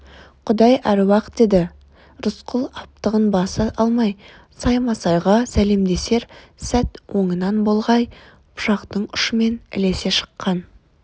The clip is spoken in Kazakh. құдай әруақ деді рысқұл аптығын баса алмай саймасайға сәлемдесер сәт оңынан болғай пышақтың ұшымен ілесе шыққан